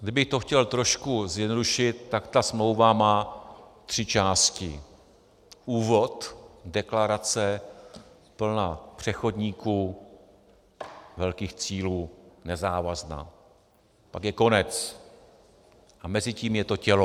Kdybych to chtěl trochu zjednodušit, tak ta smlouva má tři části: úvod - deklarace plná přechodníků, velkých cílů, nezávazná, pak je konec a mezi tím je to tělo.